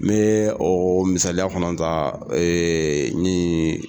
N bɛ ɔɔ misaya kɔnɔn ta ee nin